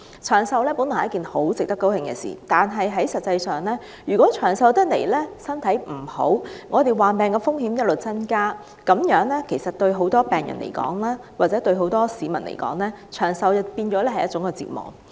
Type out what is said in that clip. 長壽本來是一件很值得高興的事情，但如果長壽的人身體欠佳，患病風險不斷上升，那麼對很多病人或市民而言，長壽便變成一種折磨。